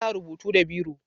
Ana rubutu da biro.